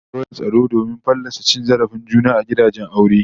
Za'a ba da lambar wayar tsaro domin fallasa cin zarafin juna a gidajen aure